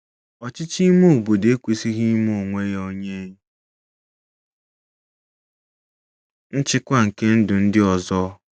Ọchịchị Ime Obodo Ekwesịghị Ime Onwe Ya Onye Nchịkwa nke Ndụ Ndị Ọzọ ”